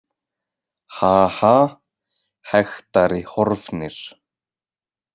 Ha- ha- hektari Horfnir.